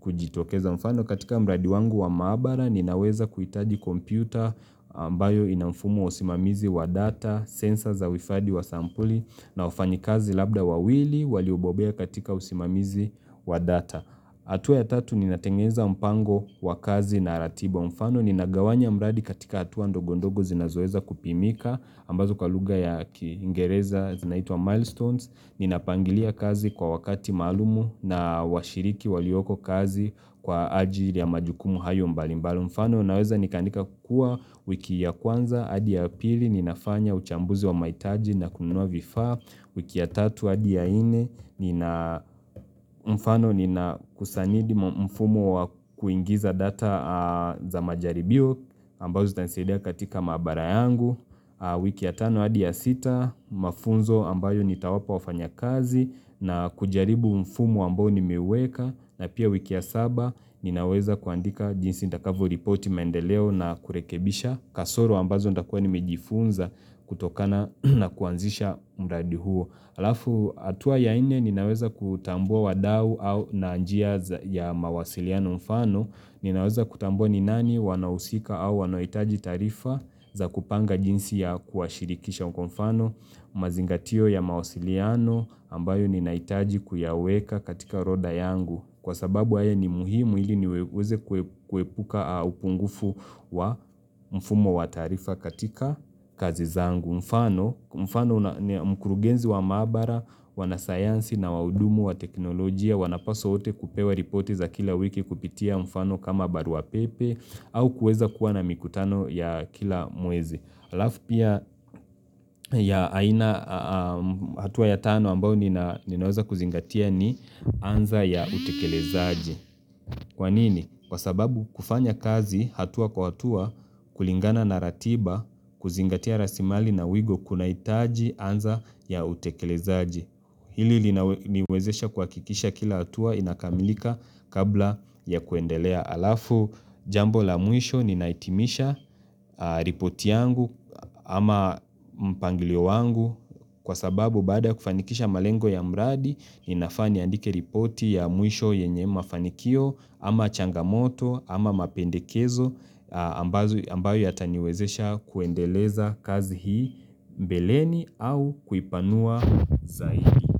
kujitokeza mfano. Katika mradi wangu wa maabara ninaweza kuhitaji kompyuta ambayo inamfumo wa usimamizi wa data, sensor za uhifadhi wa sampuli na wafanyikazi labda wawili waliobobea katika usimamizi wa data. Hatua ya tatu ninatengeza mpango wakazi na ratiba mfano. Ninagawanya mradi katika hatua ndogo ndogo zinazoweza kupimika ambazo kwa lugha ya kiingereza zinaitwa milestones ninapangilia kazi kwa wakati maalum na washiriki waliokokazi kwa ajili ya majukumu hayo mbalimbali mfano naweza nikaandika kuwa wiki ya kwanza hadi ya pili ninafanya uchambuzi wa mahitaji na kununua vifaa, wiki ya tatu hadi ya nne, nina, mfano ninakusanidi mfumo wa kuingiza data za majaribio, ambazo zitanisadia katika maabara yangu, wiki ya tano hadi ya sita, mafunzo ambayo nitawapa wafanyakazi, na kujaribu mfumo ambao nimeweka, na pia wiki ya saba, ninaweza kuandika jinsi nitakvyoripoti maendeleo na kurekebisha, kasoro ambazo nitakuwa nimejifunza kutokana na kuanzisha mradi huo halafu hatua ya nne ninaweza kutambua wadau au na njia ya mawasiliano mfano ninaweza kutambua ni nani wanahusika au wanaohitaji taarifa za kupanga jinsi ya kuwa shirikisha kwa mfano mazingatio ya mawasiliano ambayo ninahitaji kuyaweka katika roda yangu Kwa sababu haya ni muhimu hili niweze kuepuka upungufu wa mfumo wa taarifa katika kazi zangu. Mfano, mkurugenzi wa maabara, wanasayansi na wahudumu wa teknolojia, wanapaswa hote kupewa ripoti za kila wiki kupitia mfano kama baruapepe au kuweza kuwa na mikutano ya kila mwezi. Halafu pia ya aina hatua ya tano ambayo ninaweza kuzingatia ni anza ya utekelezaji. Kwa nini? Kwa sababu kufanya kazi hatua kwa hatua kulingana na ratiba kuzingatia rasilimali na wigo kunahitaji anza ya utekelezaji. Hili liwezesha kuhakikisha kila hatua inakamilika kabla ya kuendelea. Haafu jambo la mwisho ninahitimisha ripoti yangu ama mpangilio wangu kwa sababu baada ya kufanikisha malengo ya mradi ninafaa niandike ripoti ya mwisho yenye mafanikio ama changamoto ama mapendekezo ambayo yataniwezesha kuendeleza kazi hii mbeleni au kuipanua zaidi.